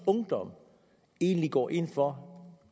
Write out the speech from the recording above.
ungdom egentlig går ind for